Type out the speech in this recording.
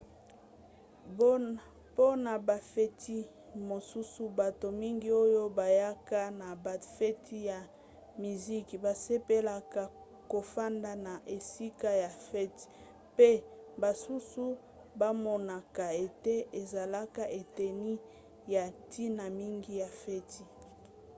mpona bafeti mosusu bato mingi oyo bayaka na bafeti ya miziki basepelaka kofanda na esika ya fete mpe basusu bamonaka ete ezalaka eteni ya ntina mingi ya feti